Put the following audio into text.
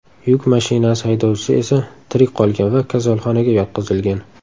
Yuk mashinasi haydovchisi esa tirik qolgan va kasalxonaga yotqizilgan.